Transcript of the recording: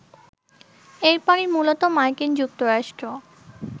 এরপরই মূলত মার্কিন যুক্তরাষ্ট্র